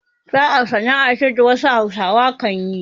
Saƙa sana'a ce da wasu Hausawa kan yi.